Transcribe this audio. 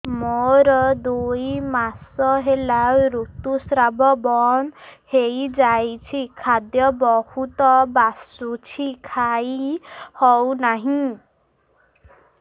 ମୋର ଦୁଇ ମାସ ହେଲା ଋତୁ ସ୍ରାବ ବନ୍ଦ ହେଇଯାଇଛି ଖାଦ୍ୟ ବହୁତ ବାସୁଛି ଖାଇ ହଉ ନାହିଁ